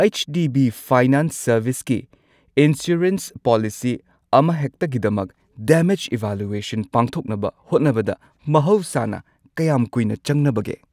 H D B finance ꯁꯔꯚꯤꯁꯀꯤ insurance policy ꯑꯃꯍꯦꯛꯇꯒꯤꯗꯃꯛ damage evaluation ꯄꯥꯡꯊꯣꯛꯅꯕ ꯍꯣꯠꯅꯕꯗ ꯃꯍꯧꯁꯥꯅ ꯀꯌꯥꯝ ꯀꯨꯏꯅ ꯆꯪꯅꯕꯒꯦ?